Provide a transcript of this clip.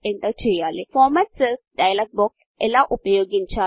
format cells format cells డైలాగ్బాక్స్ను ఎలా ఉపయోగించాలి